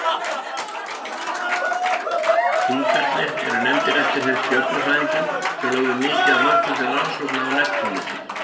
Hringarnir eru nefndir eftir þeim stjörnufræðingum sem lögðu mikið af mörkum til rannsókna á Neptúnusi.